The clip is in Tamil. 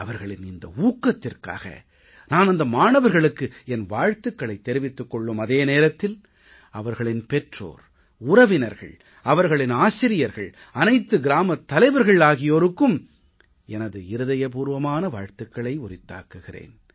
அவர்களின் இந்த ஊக்கத்திற்காக நான் அந்த மாணவர்களுக்கு என் வாழ்த்துக்களைத் தெரிவித்துக் கொள்ளும் அதே நேரத்தில் அவர்களின் பெற்றோர் உறவினர்கள் அவர்களின் ஆசிரியர்கள் அனைத்து கிராமத் தலைவர்கள் ஆகியோருக்கும் எனது இருதய பூர்வமான வாழ்த்துக்களை உரித்தாக்குகிறேன்